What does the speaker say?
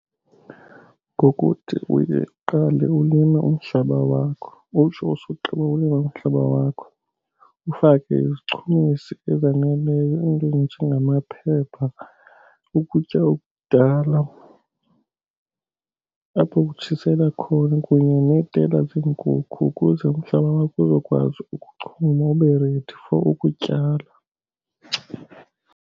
Ngokuthi uye uqale ulime umhlaba wakho. Utsho usogqiba ulima umhlaba wakho ufake izichumisi ezaneleyo, iinto ezinjengamaphepha, ukutya okudala apho ukutshisela khona kunye neetela zeenkukhu ukuze umhlaba wakho uzokwazi ukuchuma ube ready for ukutyala.